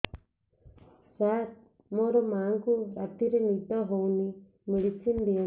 ସାର ମୋର ମାଆଙ୍କୁ ରାତିରେ ନିଦ ହଉନି ମେଡିସିନ ଦିଅନ୍ତୁ